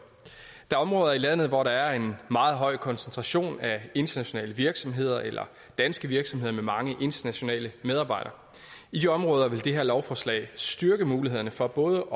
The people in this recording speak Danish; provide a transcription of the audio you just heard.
er områder i landet hvor der er en meget høj koncentration af internationale virksomheder eller danske virksomheder med mange internationale medarbejdere i de områder vil det her lovforslag styrke mulighederne for både